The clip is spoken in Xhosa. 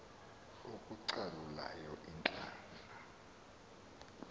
oko kucalula iintlanga